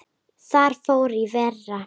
Þar fór í verra.